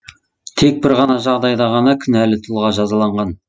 тек бір жағдайда ғана кінәлі тұлға жазаланған